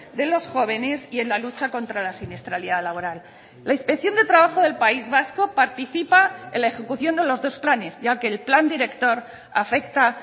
de los jóvenes y en la lucha contra la siniestralidad laboral la inspección de trabajo del país vasco participa en la ejecución de los dos planes ya que el plan director afecta